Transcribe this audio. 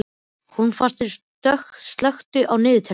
Hólmfastur, slökktu á niðurteljaranum.